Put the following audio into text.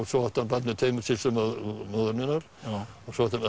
svo átti hann börn með tveimur systrum móður minnar